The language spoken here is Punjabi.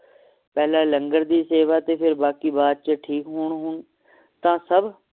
ਪਹਿਲਾਂ ਲੰਗਰ ਦੀ ਸੇਵਾ ਤੇ ਫੇਰ ਬਾਕੀ ਬਾਅਦ ਚ ਠੀਕ ਹੁਣ ਹੁਣ ਤਾ ਸਭ